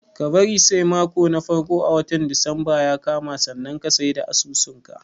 Ka bari sai mako na farko a watan disamba ya kama sannan ka sai da asusun ka.